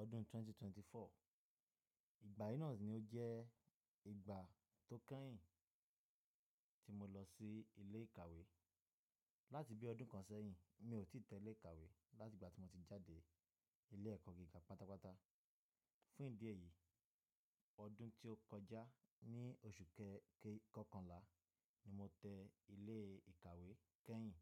ọdún ẹgbẹ̀rún méjì ó lé ẹ́rinlélógún. Ìgbà yí náà ni ó jẹ́ ìgbà tó kẹ́yìn tí mo lọ sí ilé ìkàwé. Láti bí ọdún kan sẹ́yìn, mi ò tí tẹ ilé ìkàwé láti ìgbà tí mo ti jáde ilé ẹ̀kọ́ gíga pátápátá. Fún ìdí èyí, ọdún tí ó kọjá ní oṣù kọ́kànlá ni mo tẹ ilé ìkàwé kẹ́yìn.